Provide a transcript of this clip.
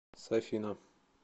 сафина